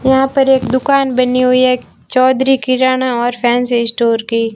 यहां पर एक दुकान बनी हुई है चौधरी किराना और फैंसी स्टोर की--